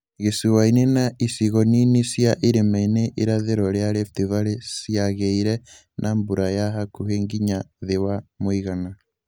Gĩcũa-inĩ na icigo nini cia irima-ini irathĩro rĩa Rift Valley ciagĩire na mbura ya hakuhĩ nginya thĩ wa mũigana